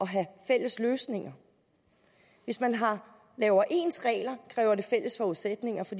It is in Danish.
have fælles løsninger hvis man laver ens regler kræver det fælles forudsætninger for